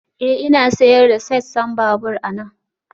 Ee, Ina sayar da sassan babur anan